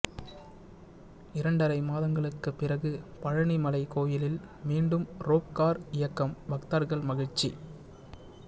இரண்டரை மாதங்களுக்கு பிறகு பழநி மலை கோயிலில் மீண்டும் ரோப்கார் இயக்கம் பக்தர்கள் மகிழ்ச்சி